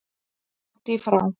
Langt í frá.